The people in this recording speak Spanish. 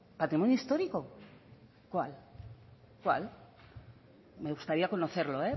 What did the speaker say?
patrimonio histórico cuál cuál me gustaría conocerlo